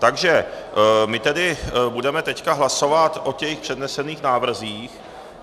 Takže my tedy budeme teď hlasovat o těch přednesených návrzích.